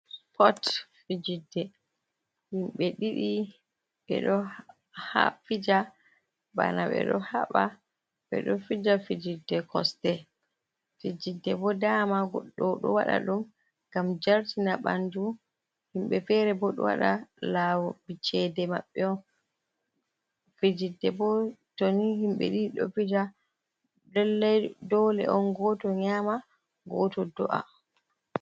Spot fijidde himɓɓe ɗiɗi ɓeɗo ha fija bana ɓe ɗo haɓa, ɓe ɗo fija fijidde kosɗe, fijidde bo dama goɗɗo ɗo waɗa ɗum ngam jartina ɓanɗu, himɓɓe fere bo ɗo waɗa lawol cede maɓɓe on, fijidde bo to ni himɓɓe ɗiɗi ɗo fija lallai dole on goto nyama, goto do’a.